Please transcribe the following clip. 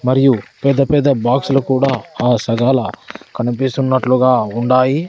మరియు పెద్ద పెద్ద బాక్స్ లు కూడా ఆ సగాల కనిపిస్తున్నట్లుగా ఉండాయి.